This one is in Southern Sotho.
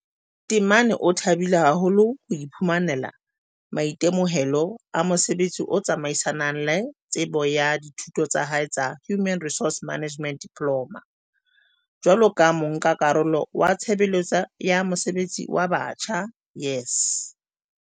Temane o thabile haholo ho iphumanela maitemohelo a mosebetsi o tsamaisanang le tsebo ya dithuto tsa hae tsa Human Resource Management Diploma, jwaloka monka-karolo wa Tshebeletso ya Mesebetsi ya Batjha, YES.